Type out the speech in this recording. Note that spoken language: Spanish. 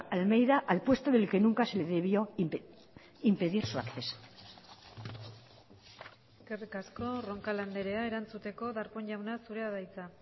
almeida al puesto del que nunca se le debió impedir su acceso eskerrik asko roncal andrea erantzuteko darpón jauna zurea da hitza